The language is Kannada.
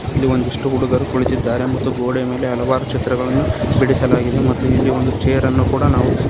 ಇಲ್ಲಿ ಒಂದಿಷ್ಟು ಹುಡುಗರು ಕುಳಿತಿದ್ದಾರೆ ಮತ್ತು ಗೋಡೆಯ ಮೇಲೆ ಹಲವಾರು ಚಿತ್ರಗಳನ್ನು ಬಿಡಿಸಲಾಗಿದೆ ಮತ್ತು ಇಲ್ಲಿ ಒಂದು ಚೇರ್ ಅನ್ನು ಕೂಡ ನಾವು--